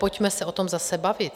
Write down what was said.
Pojďme se o tom zase bavit!